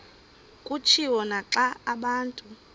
kutshiwo naxa abantu